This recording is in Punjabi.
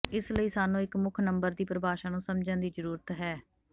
ਇਸ ਲਈ ਸਾਨੂੰ ਇੱਕ ਮੁੱਖ ਨੰਬਰ ਦੀ ਪਰਿਭਾਸ਼ਾ ਨੂੰ ਸਮਝਣ ਦੀ ਜ਼ਰੂਰਤ ਹੈ